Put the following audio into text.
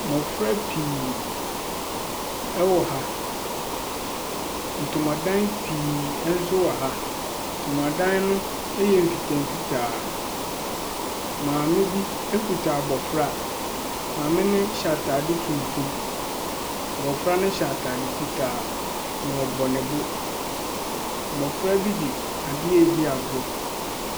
Mmofra pii wɔ ha. Ntomadan pii nso wɔ ha. Ntomadan no yɛ mfitaa mfitaa. Maame bi kuta abofra. Maame no hyɛ ataade tuntum. Abofra no hyɛ ataade fitaa. N ɔbɔ ne bo. Mmɔfra bi de adeɛ redi agorɔ.